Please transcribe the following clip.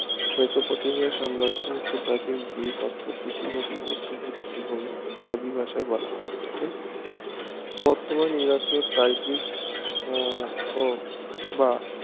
Mesopotamia সাম্রাজ্য প্রাচীন Greek অর্থাৎ দুটি নদীর মধ্যবর্তী আরবি ভাষায় বলা হয় ওটাকে বর্তমান ইরাকে টাইগ্রিস আহ ও বা